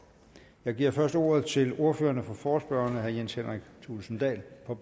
jeg giver først ordet til ordføreren for forespørgerne herre jens henrik thulesen dahl for